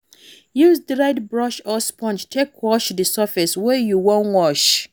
Use di right brush or sponge take wash di surface wey you wan wash